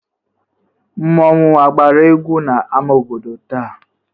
Mmọnwụ agbara egwu n'ama obodo taa?